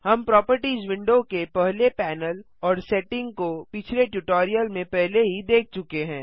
हम properties window के पहले पैनल और सेटिंग को पिछले ट्यूटोरियल में पहले ही देख चुके हैं